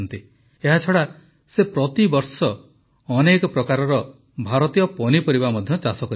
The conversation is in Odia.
ଏହାଛଡ଼ା ସେ ପ୍ରତିବର୍ଷ ଅନେକ ପ୍ରକାରର ଭାରତୀୟ ପନିପରିବା ମଧ୍ୟ ଚାଷ କରନ୍ତି